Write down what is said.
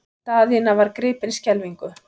Daðína var gripin skelfingu.